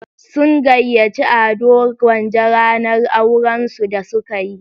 Sun gayyaci Ado Gwanja ranar auran su da suka yi.